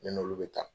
Ne n'olu bɛ taa